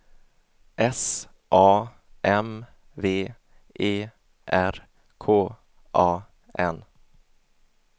S A M V E R K A N